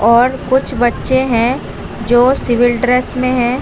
और कुछ बच्चे हैं जो सिविल ड्रेस मे हैं।